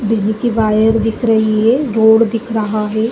दिली की वायर दिख रही है रोड दिख रहा है।